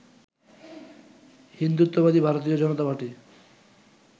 হিন্দুত্ববাদী ভারতীয় জনতা পার্টি